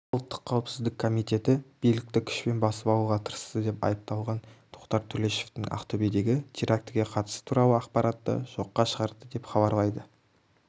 ұлттық қауіпсіздік комитеті билікті күшпен басып алуға тырысты деп айыпталған тоқтар төлешовтің ақтөбедегі терактіге қатысы туралы ақпаратты жоққа шығарды деп хабарлайды